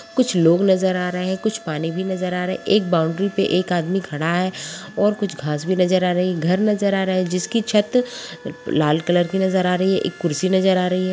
कुछ लोग नजर आ रहे हैं कुछ पानी भी नजर आ रहा है एक बाउंड्री पे एक आदमी खड़ा है और कुछ घास भी नजर आ रही है घर नजर आ रहे है जिसकी छत लाल कलर की नजर आ रही है एक कुर्सी नजर आ रही है।